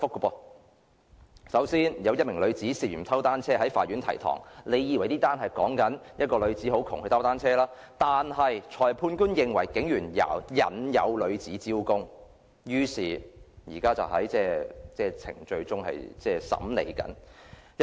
首先，有一名女子涉嫌偷單車在法院提堂，大家以為這宗事件是關於一名貧窮女子偷單車，但裁判官認為是警員引誘該女子招供，現正在審理程序中。